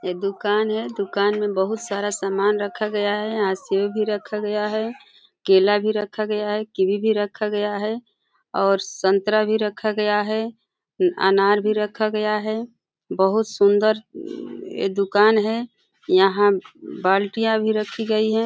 ये दुकान है। दुकान में बहुत सारा सामान रखा गया है। यहाँ सेब भी रखा गया है केला भी रखा गया है कीवी भी रखा गया है और संतरा भी रखा गया है अनार भी रखा गया है। बहुत सुंदर ये दुकान है। यहाँ बाल्टियाँ भी रखी गई है।